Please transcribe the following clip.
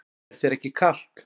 Er þér ekki kalt?